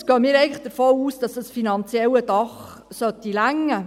Deshalb gehen wir davon aus, dass dieses finanzielle Dach genügen sollte.